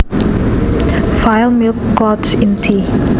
File Milk clouds in tea